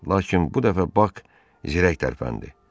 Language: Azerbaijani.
Lakin bu dəfə Bak zirək tərpəndi.